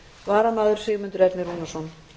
varamaður er sigmundur ernir rúnarsson